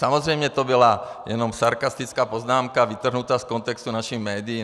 Samozřejmě to byla jenom sarkastická poznámka vytrhnutá z kontextu našimi médii.